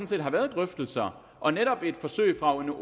set har været drøftelser og netop et forsøg fra